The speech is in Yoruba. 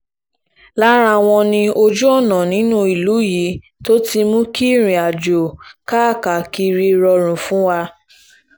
lára wọn ni ojú-ọ̀nà nínú ìlú yìí tó ti mú kí ìrìnàjò káàkiri rọrùn fún wa